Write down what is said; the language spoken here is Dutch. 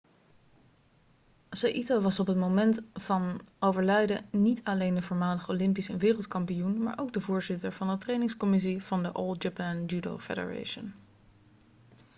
saito was op het moment van overlijden niet alleen de voormalig olympisch en wereldkampioen maar ook de voorzitter van de trainingscommissie van de all japan judo federation